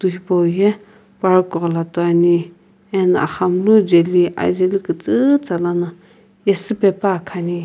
tho hipau ye park ghola toiani ena axamunu jeli ajeli kututa lana yesupe puakhani.